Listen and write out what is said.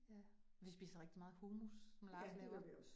Ja, vi spiser rigtig meget hummus, som Lars laver